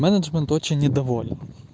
менеджмент очень недоволен